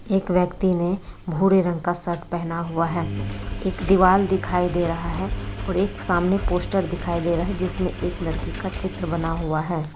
एक व्यक्ति ने भूरे रंग का शर्ट पहना हुआ है एक दीवाल दिखाई दे रहा हैऔर एक सामने पोस्टर दिखाई दे रहा है जिसमें एक लड़की का चित्र बना हुआ है।